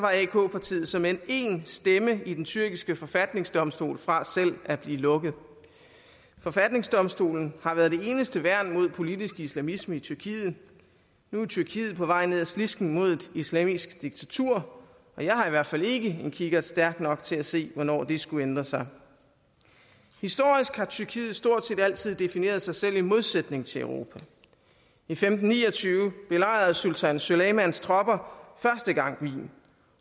partiet såmænd én stemme i den tyrkiske forfatningsdomstol fra selv at blive lukket forfatningsdomstolen har været det eneste værn mod politisk islamisme i tyrkiet nu er tyrkiet på vej ned ad slisken mod et islamisk diktatur og jeg har i hvert fald ikke en kikkert stærk nok til at se hvornår det skulle ændre sig historisk har tyrkiet stort set altid defineret sig selv i modsætning til europa i femten ni og tyve belejrede sultan süleymans tropper første gang wien